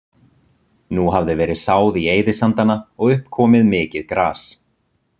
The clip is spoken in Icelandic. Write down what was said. Nú hafði verið sáð í eyðisandana og upp komið mikið gras.